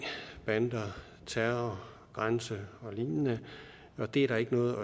bander terror grænse og lignende og det er der ikke noget